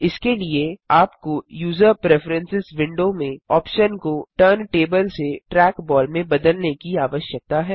इसके लिए आपको यूजर प्रेफरेंस विंडो में ऑप्शन को टर्न टेबल से ट्रैकबॉल में बदलने की आवश्यकता है